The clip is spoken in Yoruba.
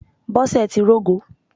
Bọ́sẹ̀ ti rógo